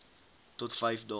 tot vyf dae